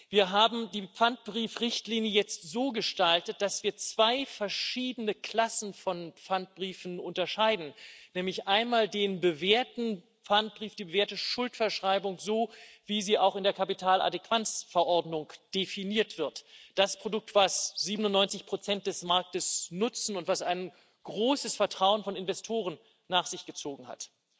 Wir haben die Pfandbrief Richtlinie jetzt so gestaltet, dass wir zwei verschiedene Klassen von Pfandbriefen unterscheiden, nämlich einmal den bewährten Pfandbrief, die Werteschuldverschreibung, so wie sie auch in der Kapitaladäquanz Verordnung definiert wird das Produkt, das 97 des Marktes nutzen und das ein großes Vertrauen von Investoren nach sich gezogen hat.